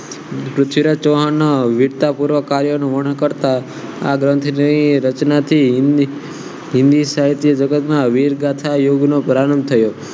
પૃથ્વીરાજ ચૌહાણના વીરતાપૂર્વક કાર્યનું વર્ણન કરતા આ ગ્રંથ જેવી રચનાથી હિન્દી સાહિત્ય જગતમાં વીર ગાથા યુગનો પ્રારંભ થયો